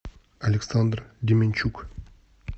александр деменчук